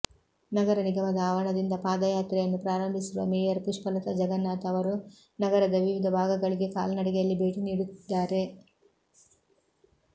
ನಗರ ನಿಗಮದ ಆವರಣದಿಂದ ಪಾದಯಾತ್ರೆಯನ್ನು ಪ್ರಾರಂಭಿಸಿರುವ ಮೇಯರ್ ಪುಷ್ಪಲತಾ ಜಗನ್ನಾಥ್ ಅವರು ನಗರದ ವಿವಿಧ ಭಾಗಗಳಿಗೆ ಕಾಲ್ನಡಿಗೆಯಲ್ಲಿ ಭೇಟಿ ನೀಡುತ್ತಿದ್ದಾರೆ